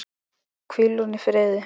Hvíl hún í friði.